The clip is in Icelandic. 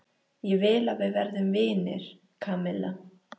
Ég vil að við verðum vinir, Kamilla.